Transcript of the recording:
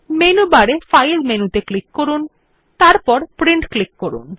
menu বারে file মেনুতে click করুন এবং তারপর প্রিন্ট ক্লিক করুন